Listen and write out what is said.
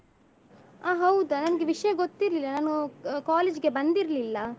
ಅಹ್ ಹೌದಾ ನನ್ಗೆ ವಿಷ್ಯ ಗೊತ್ತಿರ್ಲಿಲ್ಲ ನಾನು college ಗೆ ಬಂದಿರ್ಲಿಲ್ಲ.